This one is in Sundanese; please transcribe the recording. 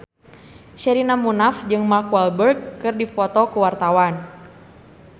Sherina Munaf jeung Mark Walberg keur dipoto ku wartawan